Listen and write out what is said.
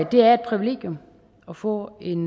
det er et privilegium at få en